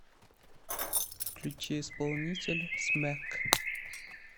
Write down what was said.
включи исполнителя смэк